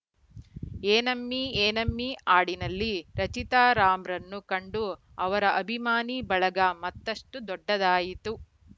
ಏನಮ್ಮಿ ಏನಮ್ಮಿ ಹಾಡಿನಲ್ಲಿ ರಚಿತಾ ರಾಮ್‌ರನ್ನು ಕಂಡು ಅವರ ಅಭಿಮಾನಿ ಬಳಗ ಮತ್ತಷ್ಟುದೊಡ್ಡದಾಯಿತು